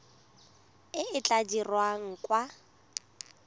e e tla dirwang kwa